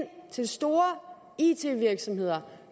til store it virksomheder